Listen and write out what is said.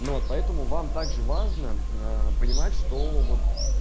но поэтому вам также важно понимать что вот